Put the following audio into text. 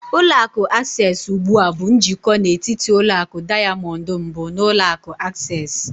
Ụlọ akụ Access ugbu a bụ njikọ n'etiti ụlọ akụ Diamond mbụ na ulọ akụ Access.